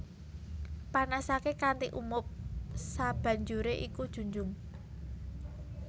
Panasaké kanthi umup sabanjuré iku junjung